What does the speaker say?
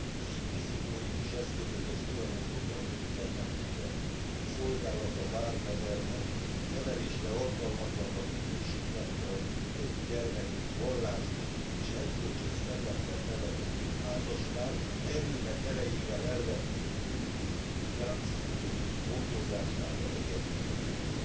Az inkvizitórikus eszközökhöz folyamodó norvég gyermekvédelmi szolgálat, a Barnevernet nevelésre alkalmatlannak minősítette az öt gyermekét vallásos és erkölcsös szellemben nevelő házaspárt, erőnek erejével elvették tőlük és gyámszülők gondozásába helyezték őket.